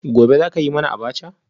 Gobe ​​zaka yi mana abacha?